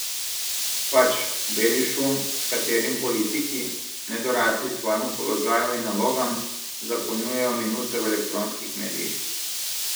Pač, beli šum, s katerim politiki, nedorasli svojemu položaju in nalogam, zapolnjujejo minute v elektronskih medijih.